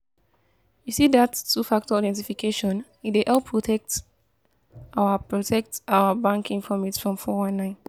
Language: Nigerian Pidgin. you see dat two-factor authentification e dey help protect our protect our bank informate from four one nine